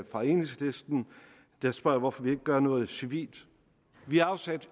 fra enhedslisten der spørger hvorfor vi ikke gør noget civilt vi har afsat